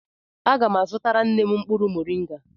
Aga m azutara nne m mkpụrụ moringa.